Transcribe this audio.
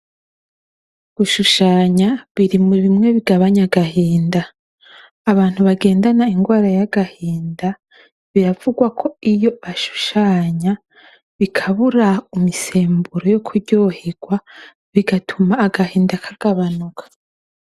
Gushuhanya biri muri bimwe bigabanya agahinda. Abantu bagendana ingwara yagahinda biravugwako iyo bashushanya bikabura imisemburo yo kuryoherwa bigatuma agahinda kagabanuka.